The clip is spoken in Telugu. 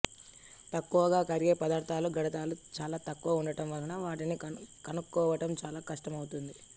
తక్కువగా కరిగే పదార్థాలలో గాఢతలు చాలా తక్కువ ఉండడం వల్ల వాటిని కనుక్కోవటం చాలా కష్టం అవుతుంది